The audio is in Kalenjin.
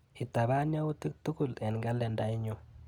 Itapaan yautik tukul eng kalendainyuu.